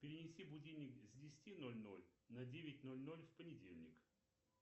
перенеси будильник с десяти ноль ноль на девять ноль ноль в понедельник